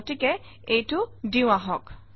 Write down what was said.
গতিকে এইটো দিওঁ আহক